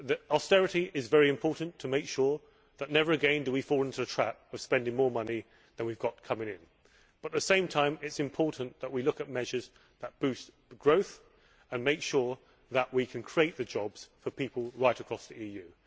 Austerity is very important to make sure that never again do we fall into the trap of spending more money than we have coming in but, at the same time, it is important that we look at measures that boost growth and make sure that we can create the jobs for people right across the EU.